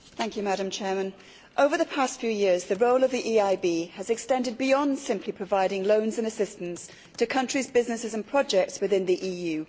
Madam President, over the past few years the role of the EIB has extended beyond simply providing loans and assistance to countries' businesses and projects within the EU.